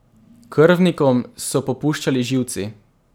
Krvnikom so popuščali živci.